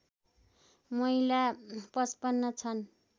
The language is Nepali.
महिला ५५ छन्